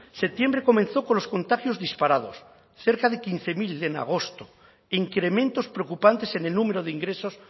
septiembre comenzó con los contagios disparados cerca de quince mil en agosto e incrementos preocupantes en el número de ingresos